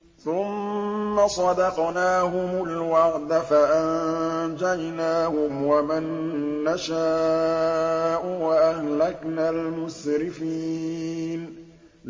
ثُمَّ صَدَقْنَاهُمُ الْوَعْدَ فَأَنجَيْنَاهُمْ وَمَن نَّشَاءُ وَأَهْلَكْنَا الْمُسْرِفِينَ